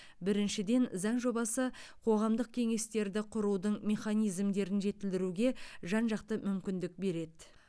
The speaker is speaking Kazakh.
біріншіден заң жобасы қоғамдық кеңестерді құрудың механизмдерін жетілдіруге жан жақты мүмкіндік береді